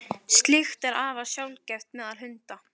slíkt er afar sjaldgæft meðal hunda